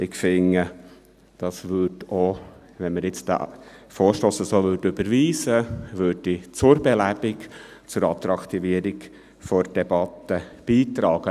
Ich finde, dies trüge, falls wir den Vorstoss so überweisen, zur Belebung, zur Attraktivierung der Debatte bei.